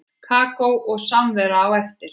Kakó og samvera á eftir.